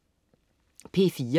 P4: